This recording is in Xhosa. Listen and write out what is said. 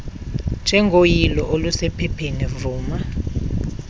njengoyilo olusephepheni vuma